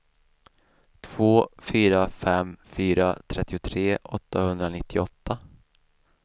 två fyra fem fyra trettiotre åttahundranittioåtta